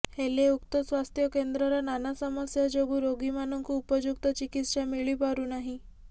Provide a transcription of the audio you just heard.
ହେଲେ ଉକ୍ତ ସ୍ୱାସ୍ଥ୍ୟକେନ୍ଦ୍ରର ନାନା ସମସ୍ୟା ଯୋଗୁ ରୋଗୀମାନଙ୍କୁ ଉପଯୁକ୍ତ ଚିକିତ୍ସା ମିଳିପାରୁନାହିଁ